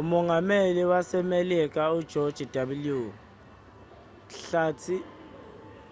umongameli wasemelika ujoji w hlathi